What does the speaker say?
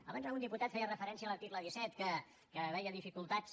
abans algun diputat feia referència a l’article disset que veia dificultats